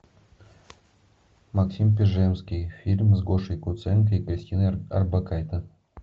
максим пежемский фильм с гошей куценко и кристиной орбакайте